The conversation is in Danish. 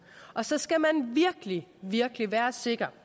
så skal man virkelig virkelig være sikker